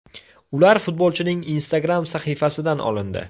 Ular futbolchining Instagram sahifasidan olindi.